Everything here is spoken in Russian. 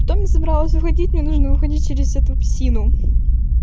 потом я собралась уходить мне нужно уходить через эту псину